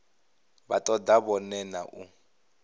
vha toda zwone na u